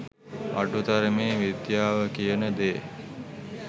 අඩු තරමේ විද්‍යාව කියන දේ